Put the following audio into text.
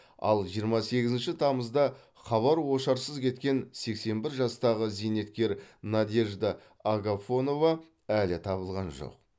ал жиырма сегізінші тамызда хабар ошарсыз кеткен сексен бір жастағы зейнеткер надежда агафонова әлі табылған жоқ